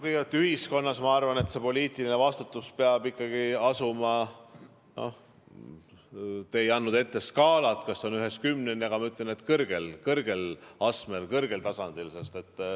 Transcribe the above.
Kõigepealt, ühiskonnas, ma arvan, see poliitiline vastutus peab ikkagi asuma kõrgel astmel, kõrgel tasandil.